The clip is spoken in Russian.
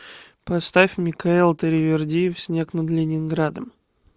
поставь микаэл таривердиев снег над ленинградом